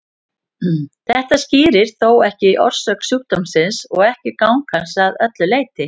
Þetta skýrir þó ekki orsök sjúkdómsins og ekki gang hans að öllu leyti.